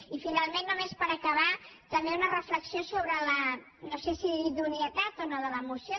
i finalment només per acabar també una reflexió sobre no sé si la idoneïtat o no de la moció